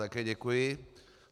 Také děkuji.